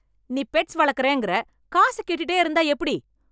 நீ பெட்ஸ் வளர்க்கறேங்கற காசு கேட்டுட்டே இருந்தா எப்படி?